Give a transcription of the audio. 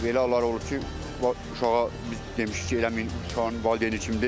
Elə hallar olub ki, uşağa biz demişik ki, eləməyin, uşaq valideyni kimdir.